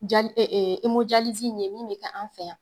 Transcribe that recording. Jal in ye min be kɛ an' fɛ yan.